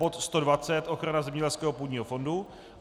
bod 120 - ochrana zemědělského půdního fondu;